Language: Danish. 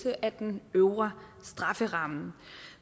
af den øvre strafferamme